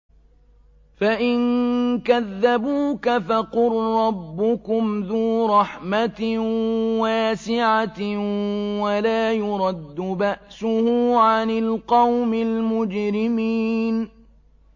فَإِن كَذَّبُوكَ فَقُل رَّبُّكُمْ ذُو رَحْمَةٍ وَاسِعَةٍ وَلَا يُرَدُّ بَأْسُهُ عَنِ الْقَوْمِ الْمُجْرِمِينَ